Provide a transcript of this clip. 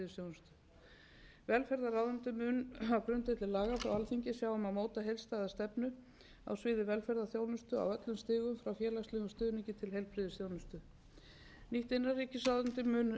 heilbrigðisþjónustu velferðarráðuneytið mun á grundvelli laga frá alþingi sjá um að móta heildstæða stefnu á öllum stigum frá félagslegum stuðningi til heilbrigðisþjónustu nýtt innanríkisráðuneyti mun